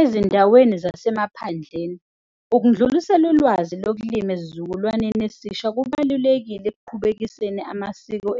Ezindaweni zasemaphandleni, ukundlulisela ulwazi lokulima esizukulwaneni esisha kubalulekile. Ekuqhubekiseni amasiko